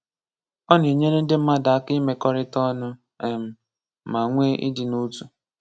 Ọ Na-enyere ndị mmadụ aka ịmekọrịta ọnụ um ma nwe ịdị n'otu.